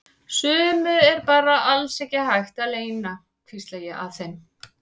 Sumu er bara alls ekki hægt að leyna, hvísla ég að þeim.